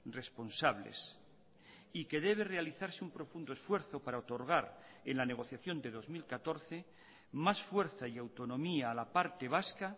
responsables y que debe realizarse un profundo esfuerzo para otorgar en la negociación de dos mil catorce más fuerza y autonomía a la parte vasca